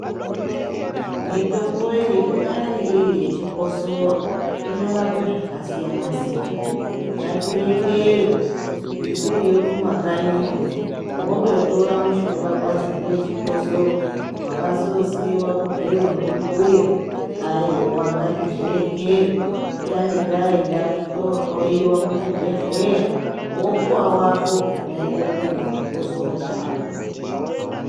Mitombo iyi kunyari iri yechikosoro unorapa zvakasiyana siyana, ngatirekere kuti tiriyo kumakanyiyo wondotora mushonga kwazi ngewe chikosoro wakasosiyiwa gorero kwazi ndimbuya. Aiwa ngatizvirekere titange taenda tohloyiwa kuchibhedhlera wopuwa wako unoenderana nechikisoro chako.